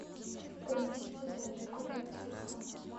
принесите зарядку для телефона